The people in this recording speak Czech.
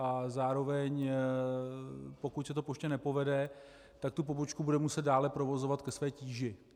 A zároveň pokud se to poště nepovede, tak tu pobočku bude muset dále provozovat ke své tíži.